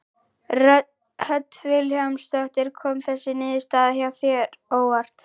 Hödd Vilhjálmsdóttir: Kom þessi niðurstaða þér á óvart?